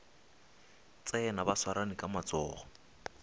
tsena ba swarane ka matsogo